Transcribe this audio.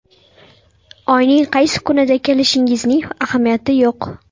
Oyning qaysi kunida kelishingizning ahamiyati yo‘q.